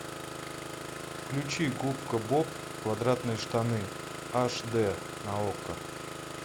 включи губка боб квадратные штаны аш дэ на окко